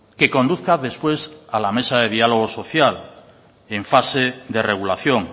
que conduzca después a la mesa de diálogo social en fase de regulación